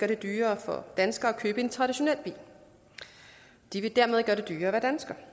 det dyrere for danskere at købe en traditionel bil de vil dermed gøre det dyrere at være dansker